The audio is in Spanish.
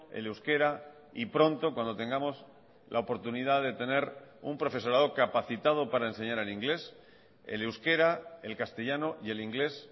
el euskera y pronto cuando tengamos la oportunidad de tener un profesorado capacitado para enseñar en inglés el euskera el castellano y el inglés